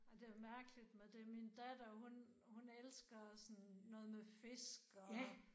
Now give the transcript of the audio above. Men det mærkelig med det min datter hun hun elsker sådan noget med fisk og